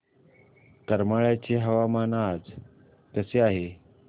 करमाळ्याचे हवामान आज कसे आहे